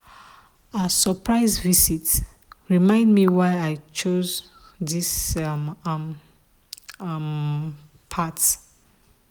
her surprise visit remind me why i choose this um um path.